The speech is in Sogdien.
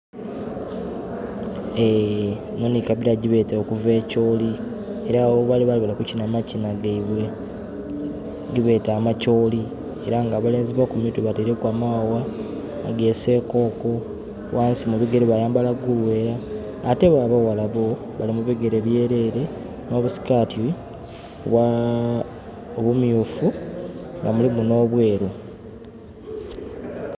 Enho nhi kabira gyebeeta okuva e choli era agho ghebali baali bali kukinha amakinha gaibwe gebeeta amacholi. Era nga abalenzi bo ku mitwe bateireku amawawa aga sekooko ghansi mu bigere bayambala guluwera. Ate bo abaghala bo bali mu bigere byerere nh'obusikati obumyufu nga mulimu n'obweru.